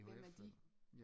Hvem er de?